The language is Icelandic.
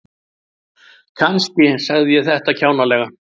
Kannski sagði ég þetta kjánalega.